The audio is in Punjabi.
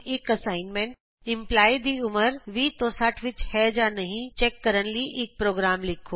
ਇਕ ਅਸਾਈਨਮੈਂਟ ਵਜੋਂ ਇੰਪਲਾਈ ਦੀ ਉਮਰ 20 ਤੋਂ 60 ਵਿਚ ਹੈ ਜਾਂ ਨਹੀਂ ਚੈਕ ਕਰਨ ਲਈ ਇਕ ਪੋ੍ਰਗਰਾਮ ਲਿਖੋ